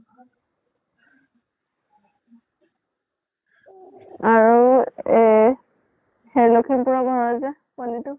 আৰু এহ সেই লক্ষীমপুৰৰ ঘৰৰ যে পোৱালীটো